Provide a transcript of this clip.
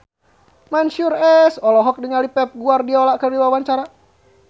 Mansyur S olohok ningali Pep Guardiola keur diwawancara